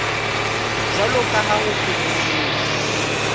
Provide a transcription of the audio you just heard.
jwalo ka ha ho phehelletswe